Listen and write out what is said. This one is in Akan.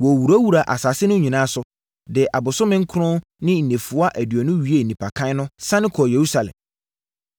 Wɔwurawuraa asase no nyinaa so, de abosome nkron ne nnafua aduonu wiee nnipakan no, sane kɔɔ Yerusalem.